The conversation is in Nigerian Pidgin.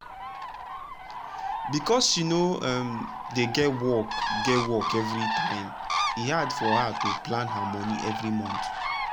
because she no um dey get work get work every time e hard for her to plan her monie every month. um